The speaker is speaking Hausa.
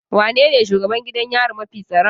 Wanene shugaban gidan yari mafi tsaron?